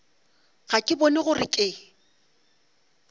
ga ke bone gore ke